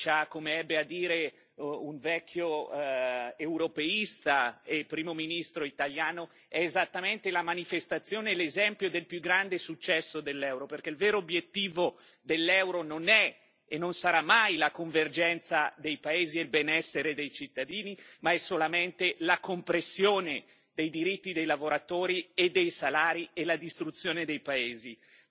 La Grecia, come ebbe a dire un vecchio europeista e Primo ministro italiano, è esattamente la manifestazione e l'esempio del più grande successo dell'Euro, perché il vero obiettivo dell'Euro non è e non sarà mai la convergenza dei paesi e il benessere dei cittadini, ma è solamente la compressione dei diritti dei lavoratori e dei salari e la distruzione dei paesi,